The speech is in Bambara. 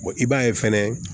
i b'a ye fɛnɛ